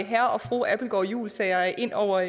herre og fru abildgaard juulsager ind over